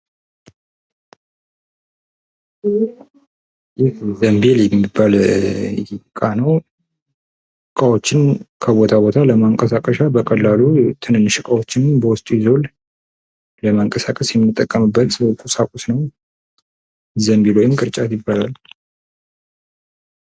ይህ ዘምቢል የሚባል እቃ ነው። እቃዎችን ከቦታ ቦታ ለማንቀሳቀስ የምንጠቀምበት እና ትንንሽ እቃወችን በውስጡ ይዟል። ለማንቀሳቀስ የምንጠቀምበት ዘምቢል ወይም ቅርጫት ይባላል።